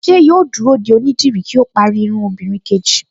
Ṣé yóò dúró de onídìrí kí ó parí irun obìnrin kejì